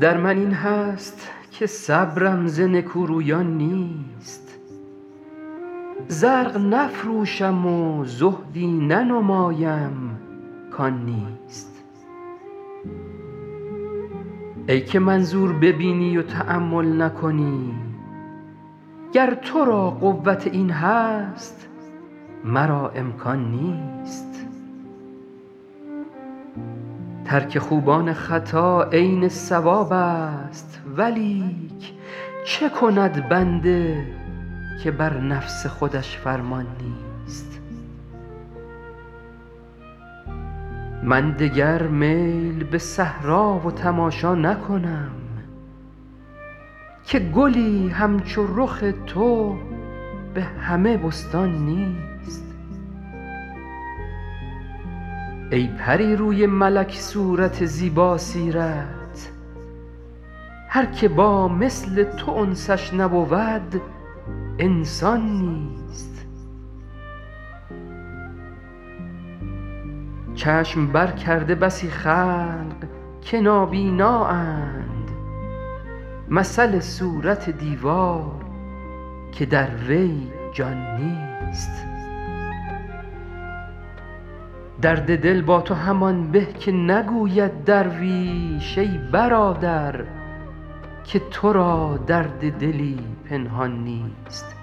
در من این هست که صبرم ز نکورویان نیست زرق نفروشم و زهدی ننمایم کان نیست ای که منظور ببینی و تأمل نکنی گر تو را قوت این هست مرا امکان نیست ترک خوبان خطا عین صوابست ولیک چه کند بنده که بر نفس خودش فرمان نیست من دگر میل به صحرا و تماشا نکنم که گلی همچو رخ تو به همه بستان نیست ای پری روی ملک صورت زیباسیرت هر که با مثل تو انسش نبود انسان نیست چشم برکرده بسی خلق که نابینااند مثل صورت دیوار که در وی جان نیست درد دل با تو همان به که نگوید درویش ای برادر که تو را درد دلی پنهان نیست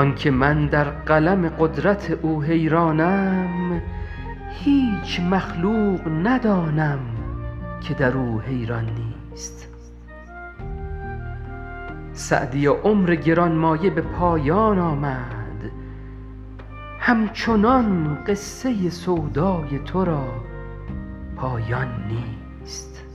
آن که من در قلم قدرت او حیرانم هیچ مخلوق ندانم که در او حیران نیست سعدیا عمر گران مایه به پایان آمد همچنان قصه سودای تو را پایان نیست